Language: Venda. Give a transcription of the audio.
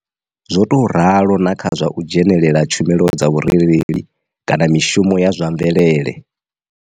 Zwo tou ralo na kha zwa u dzhenela tshumelo dza vhu rereli kana mishumo ya zwa mvelele.